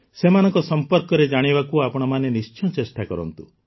ସେମାନଙ୍କ ସମ୍ପର୍କରେ ଜାଣିବାକୁ ଆପଣମାନେ ନିଶ୍ଚୟ ଚେଷ୍ଟା କରନ୍ତୁ